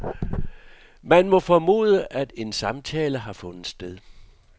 Man må formode, at en samtale har fundet sted.